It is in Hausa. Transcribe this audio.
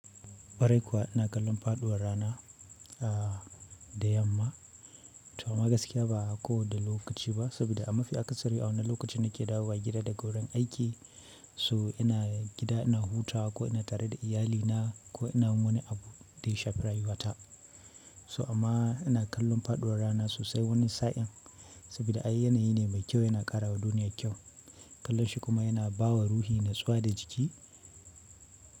Kwarai kuwa ina kallon faɗuwar rana a da yamma. To amma gaskiya ba a ko da lokaci ba, saboda ma fi akasari a wannan lokacin na ke dawo wa gida daga wurin aiki, so ina gida ina huta ko ina tare da iyalina ko ina wani abu da ya shafi rayuwata. To amma ina kallon faɗuwar rana sosai wani sa'in, saboda ai yana yi ne mai kyau yana ƙara wa duniya kyau. Kallon shi kuma yana ba wa ruhi natsuwa da jiki.